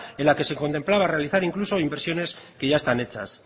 en la que se contemplaba realizar incluso inversiones que ya están hechas